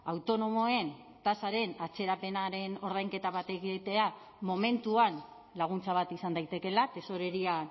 autonomoen tasaren atzerapenaren ordainketa bat egitea momentuan laguntza bat izan daitekeela tesorería